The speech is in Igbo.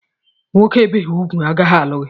Nwoke ebeghị ugwu agaghị alụ gị!